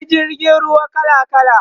akwai jirgin ruwa kala kala